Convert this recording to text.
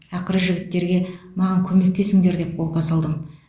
ақыры жігіттерге маған көмектесіңдер деп қолқа салдым